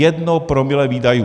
Jedno promile výdajů.